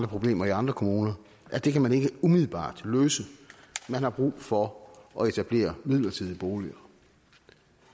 problemer i andre kommuner at det kan man ikke umiddelbart løse man har brug for at etablere midlertidige boliger